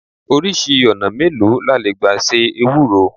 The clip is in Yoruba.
Oríṣi ọ̀nà mélòó la le gbà se Ewúro?